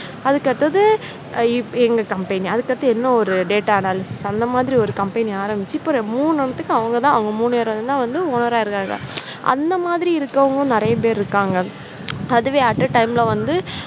அதுக்கு அடுத்தது எங்க company அதுக்கு அடுத்தது இன்னொரு data anaylst அந்த மாதிரி ஒரு company ஆரம்பித்து இப்போ மூன்று ஒண்ணுத்துக்கும் அவங்க தான் அவங்க மூன்று பேர் தான் வந்து owner ரா இருக்காங்க அந்த மாதிரி இருக்கறவங்களும் நிறைய பேர் இருக்காங்க. அதுவே, at a time ல வந்து